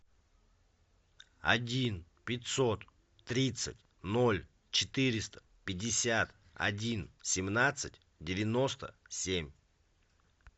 один пятьсот тридцать ноль четыреста пятьдесят один семнадцать девяносто семь